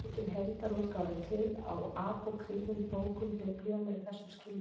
Engin heildarútgáfa er til á apókrýfum bókum Biblíunnar í þessum skilningi.